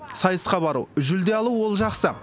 сайысқа бару жүлде алу ол жақсы